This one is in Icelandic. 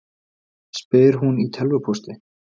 spyr hún í tölvupósti.